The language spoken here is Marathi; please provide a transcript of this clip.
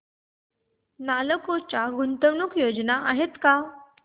नालको च्या गुंतवणूक योजना आहेत का